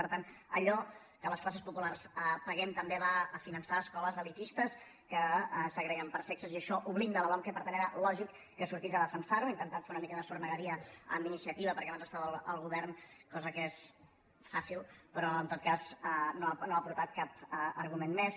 per tant allò que les classes populars paguem també va a finançar escoles elitistes que segreguen per sexes i això ho blinda la lomqe per tant era lògic que sortís a defensar ho ha intentat fer una mica de sornegueria amb iniciativa perquè abans estava al govern cosa que és fàcil però en tot cas no ha aportat cap argument més